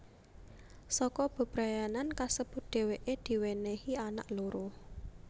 Saka bebrayanan kasebut dhèwèké diwènèhi anak loro